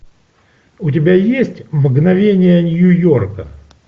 у тебя есть мгновения нью йорка